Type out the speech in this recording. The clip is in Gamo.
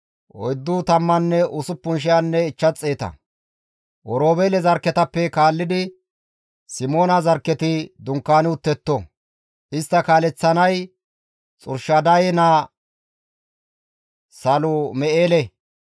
Oroobeele zarkketappe kaallidi Simoona zarkketi dunkaani uttetto; istta kaaleththanay Xurshadaye naa Salum7eele.